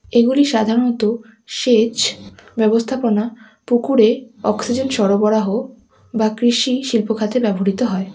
এগুলি সাধারণত সেচ ব্যবস্থাপনা পুকুরে অক্সিজেন সরবরাহ বা কৃষি শিল্পখাতে ব্যবহৃত হয়।